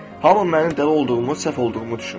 Hamı mənim dəli olduğumu, səhv olduğumu düşünür.